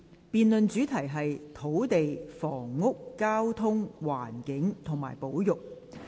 辯論主題是"土地、房屋、交通、環境及保育"。